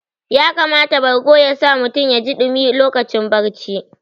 Ya kamata bargo ya sa mutum yaji ɗumi lokacin barci